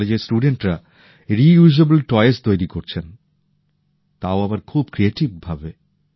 এই কলেজের ছাত্রছাত্রীরা পূনর্ব্যবহারযোগ্য খেলনা তৈরি করছেন তাও আবার খুবই সৃজনশীল ভাবে